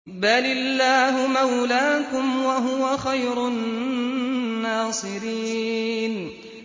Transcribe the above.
بَلِ اللَّهُ مَوْلَاكُمْ ۖ وَهُوَ خَيْرُ النَّاصِرِينَ